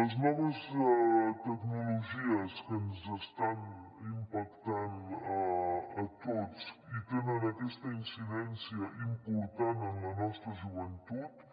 les noves tecnologies que ens estan impactant a tots i tenen aquesta incidència important en la nostra joventut